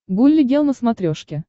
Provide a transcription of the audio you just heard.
гулли гел на смотрешке